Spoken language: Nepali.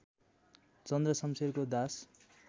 चन्द्र शम्शेरको दास